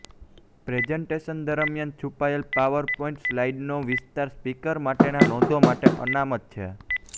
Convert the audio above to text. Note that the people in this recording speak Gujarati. પ્રેઝન્ટેશન દરમિયાન છુપાયેલ પાવરપોઈન્ટ સ્લાઈડનો વિસ્તાર સ્પીકર માટેના નોંધો માટે અનામત છે